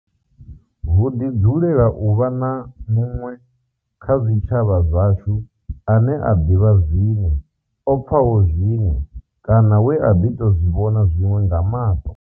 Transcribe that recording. Hu ḓi dzulela uvha na muṅwe kha zwitshavha zwashu ane a ḓivha zwiṅwe, o pfaho zwiṅwe kana we a ḓi tou zwi vhona zwiṅwe nga maṱo.